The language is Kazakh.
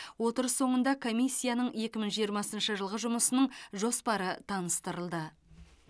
отырыс соңында комиссияның екі мың жиырмасыншы жылғы жұмысының жоспары таныстырылды